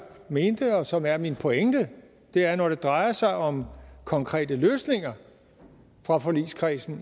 mente og som er min pointe er at når det drejer sig om konkrete løsninger fra forligskredsen